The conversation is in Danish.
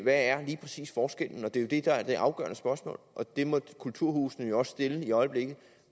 er lige præcis forskellen det er jo det der er det afgørende spørgsmål og det må kulturhusene jo også stille i øjeblikket